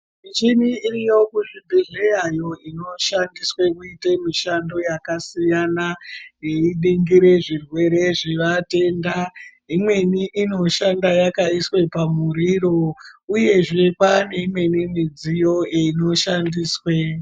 Michini iriyo kuzvibhedhleyayo inoshandiswe kuita mishando yakasiyana, inoningire zvirwere zvevatenda. Imweni inoshanda yakaiswa pamuriro, uyezve kwane imweni midziyo inoshandiswe.